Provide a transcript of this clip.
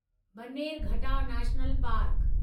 Bannerghatta national park